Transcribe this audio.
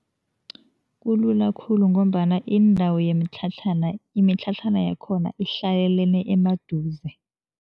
Kulula khulu ngombana indawo yemitlhatlhana, imitlhatlhana yakhona ihlalelene emaduze.